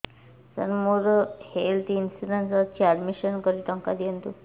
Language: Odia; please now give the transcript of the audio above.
ସାର ମୋର ହେଲ୍ଥ ଇନ୍ସୁରେନ୍ସ ଅଛି ଆଡ୍ମିଶନ କରି ଟଙ୍କା ଦିଅନ୍ତୁ